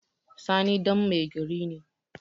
Sani ɗan mai gari ne